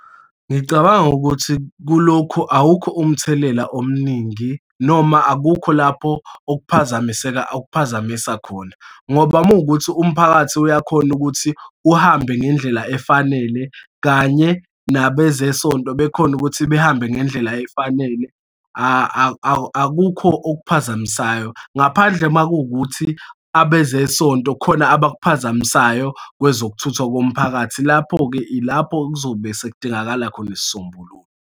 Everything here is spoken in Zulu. Ngicabanga ukuthi kulokhu awukho umthelela omningi noma akukho lapho okuphazamiseka, ukuphazamisa khona, ngoba uma kuwukuthi umphakathi uyakhona ukuthi uhambe ngendlela efanele kanye nabezesonto bekhona ukuthi behambe ngendlela efanele, akukho okuphazamisayo. Ngaphandle uma kuwukuthi abezesonto khona abakuphazamisayo kwezokuthutha komphakathi. Lapho-ke, ilapho kuzobe sekudingakala khona isisombululo.